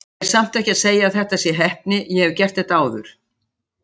Ég er samt ekki að segja að þetta sé heppni, ég hef gert þetta áður.